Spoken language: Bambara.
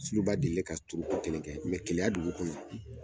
Suruba de ye ka turu kelen kɛ keya dugu kɔnɔ.